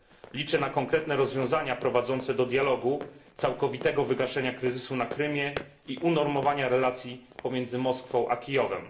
Liczę na konkretne rozwiązania prowadzące do dialogu, całkowitego wygaśnięcia kryzysu na Krymie i unormowania relacji pomiędzy Moskwą i Kijowem.